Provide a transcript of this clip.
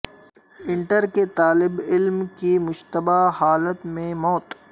inter کے طالب علم کی مشتبہ حالت میں موت